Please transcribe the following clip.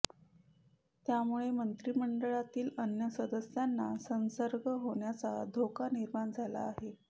त्यामुळे मंत्रिमंडळातील अन्य सदस्यांना संसर्ग होण्याचा धोका निर्माण झाला आहे